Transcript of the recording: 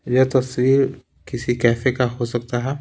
यह तस्वीर किसी कैफे का हो सकता है।